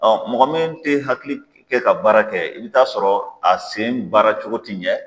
mɔgɔ min tɛ hakili kɛ ka baara kɛ i bɛ t'a sɔrɔ a sen baara cogo tɛ ɲɛ.